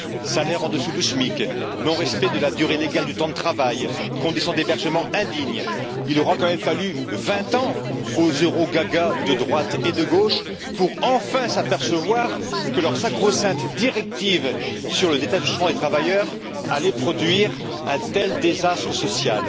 Salaires en dessous du SMIC, non respect de la durée légale du temps de travail, conditions d'hébergement indignes, il aura quand même fallu vingt ans aux eurogagas de droite et de gauche pour enfin s'apercevoir que leur sacro sainte directive sur le détachement des travailleurs allait produire un tel désastre social.